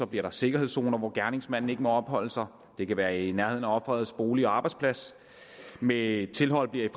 bliver der sikkerhedszoner hvor gerningsmanden ikke må opholde sig det kan være i nærheden af ofrets bolig og arbejdsplads med tilhold bliver